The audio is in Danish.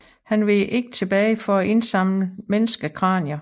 Han veg ikke tilbage for at indsamle menneskekranier